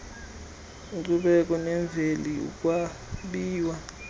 nkcubeko nemveli ukwabiwa